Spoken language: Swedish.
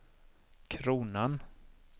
kronan